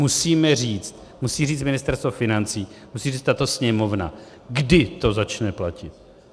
Musíme říct, musí říct Ministerstvo financí, musí říct tato Sněmovna, kdy to začne platit.